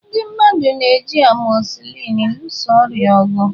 Ndị mmadụ na-eji amọsịlịn lụso ọrịa ọgụ.